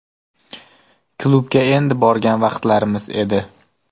Klubga endi borgan vaqtlarimiz edi.